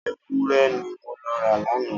Ewúrẹ́ ni mo lọ ra lánàá.